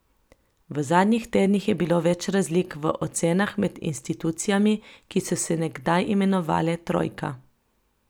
V zadnjih tednih je bilo več razlik v ocenah med institucijami, ki so se nekdaj imenovale trojka.